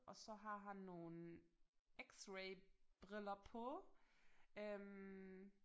Og så har han nogle x-ray briller på øh